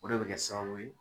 O de bɛ kɛ sababu ye